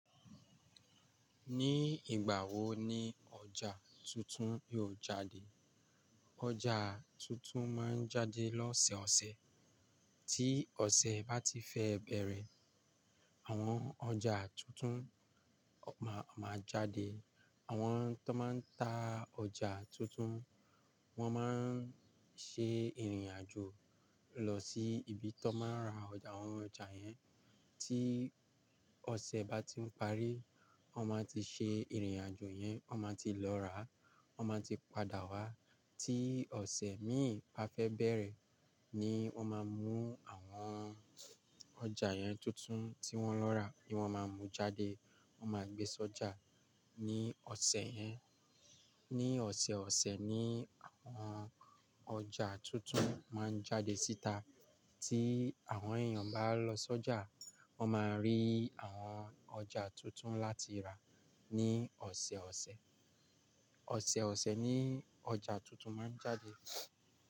Ní ìgbà wo ni ọjà tuntun yóò jáde? Ọjà tuntun máa ń jáde lọ́sẹ̀ ọ̀sẹ̀. Tí ọ̀sẹ̀ bá ti fẹ́ bẹ̀rẹ̀, àwọn ọjà tuntun má máa jáde. Àwọn tó máa ń ta ọjà tuntun, wọ́n máa ń ṣe ìrìn àjò lọ sí ibi tó máa ń ra àwọn ọjà yẹn. Tí ọ̀sẹ̀ bá ti ń parí, wọ́n máa ti ṣe ìrìn àjò yẹn, wọ́n máa ti lọ rà, wọ́n máa ti padà wá. Tí ọ̀sẹ̀ míì bá fẹ́ bẹ̀rẹ̀ ni wọ́n máa mú àwọn ọjà yẹn tuntun tí wọ́n lọ rà ni wọ́n máa mú jáde. Wọ́n máa gbé s'ọjà ní ọ̀sẹ̀ yẹn. Ní ọ̀sẹ̀ ọ̀sẹ̀ ni àwọn ọjà tuntun máa ń jáde síta. Tí àwọn èèyàn bá lọ s'ọjà, wọ́n máa rí àwọn ọjà tuntun láti rà ní ọ̀sẹ̀ ọ̀sẹ̀. Ọ̀sẹ̀ ọ̀sẹ̀ ni ọjà tuntun máa ń jáde.